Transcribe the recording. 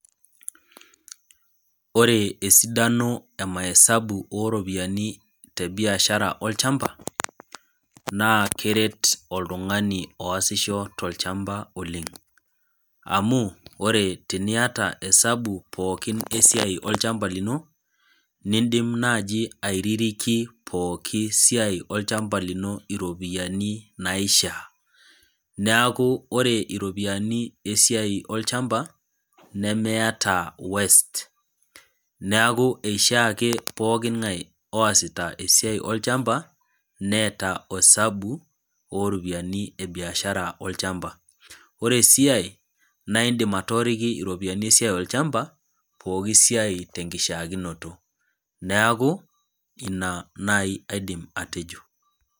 Ore esidano emaesabu oropiyiani tebiashara olchamba naa keret oltungani oosisho tolchamba oleng amu ore teniata esabu esiai pookin olchamba lino , nindim naji aiririki pooki siai olchamba lino, iropiyiani naishiaa , neeku ore iropiyiani esiai olchamba nemeeta waste , neeku ishiaa ake pookingae osita esiai olchamba neeta osabu oropiyiani ebiashara olchamba. Oresiiae naa indim atooriki iropiyiani esiai olchamba poki siai tenkishiaakinoto , neeku ina nai aidim atejo .